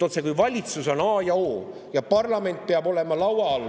Otsekui valitsus on a ja o ning parlament peab olema laua all.